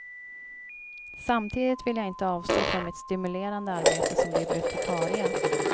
Samtidigt vill jag inte avstå från mitt stimulerande arbete som bibliotekarie.